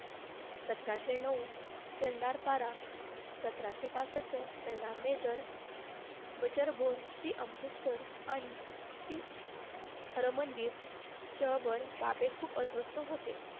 सतराशे नऊ चेन्नपारा सतराशे पासष्ट अमृतसर आणि श्री हरमनजी च्या बाबीत खूप अस्वस्थ होते.